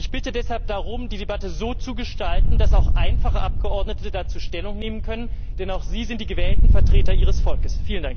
Ich bitte deshalb darum, die Debatte so zu gestalten, dass auch einfache Abgeordnete dazu Stellung nehmen können, denn auch sie sind die gewählten Vertreter ihres Volkes.